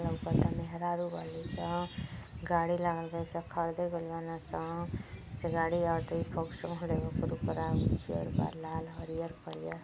लौकता मेहरारू बालिसन। गाड़ी लागल बालिसन। खरीदे गइल बाड़सन। पीछे गाड़ी आवातली फ़ोक्स मरले बा ऊपरा उज्जर बा लाल हरियल करिया --